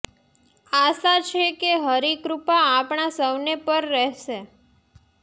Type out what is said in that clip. આશા છે કે હરિ કૃપા આપણા સૌને પર રહેશે